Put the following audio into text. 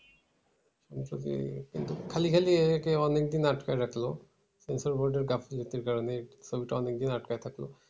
কিন্তু কি? কিন্তু খালি খালি এ কে অনেকদিন আটকে রাখলো censor board এর গাফিলতির কারণে ছবিটা অনেকদিন আটকায় থাকলো।